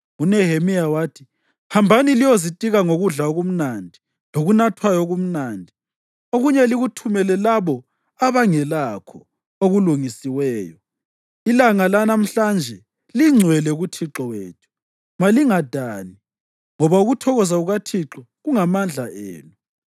UNehemiya wathi, “Hambani liyozitika ngokudla okumnandi lokunathwayo okumnandi, okunye likuthumele labo abangelakho okulungisiweyo. Ilanga lanamhla lingcwele kuThixo wethu. Malingadani, ngoba ukuthokoza kukaThixo kungamandla enu.”